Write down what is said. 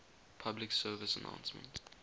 public service announcement